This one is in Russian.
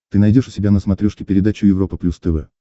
ты найдешь у себя на смотрешке передачу европа плюс тв